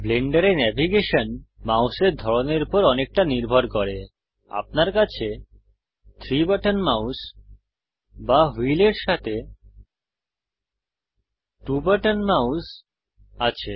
ব্লেন্ডারে ন্যাভিগেশন মাউসের ধরনের উপর অনেকটা নির্ভর করে আপনার কাছে 3 বাটন মাউস বা হুইলের সাথে 2 বাটন মাউস আছে